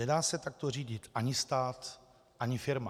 Nedá se takto řídit ani stát ani firma.